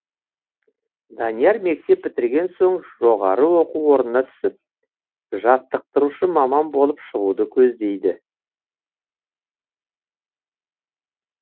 данияр мектеп бітірген соң жоғары оқу орнына түсіп жаттықтырушы маман болып шығуды көздейді